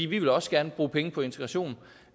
vi vil også gerne bruge penge på integration